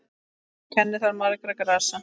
Kennir þar margra grasa.